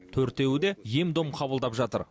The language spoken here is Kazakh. төртеуі де ем дом қабылдап жатыр